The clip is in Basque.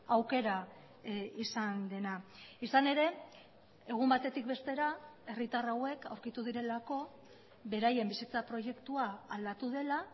aukera izan dena izan ere egun batetik bestera herritar hauek aurkitu direlako beraien bizitza proiektua aldatu dela